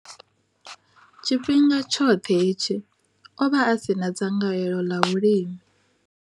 Tshifhinga tshoṱhe hetshi, o vha a si na dzangalelo ḽa vhulimi.